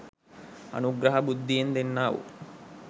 අනුග්‍රහ බුද්ධියෙන් දෙන්නා වූ